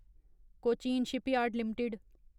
Cochin shipyard limited